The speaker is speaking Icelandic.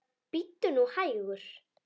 Bíddu nú hægur.